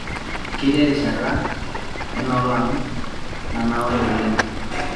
ketii erishata enoolong' nanaure oleng'